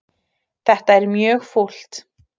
Þetta er mjög fúlt.